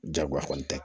Jagoya kɔni tɛ